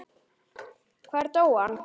Hvar dó hann?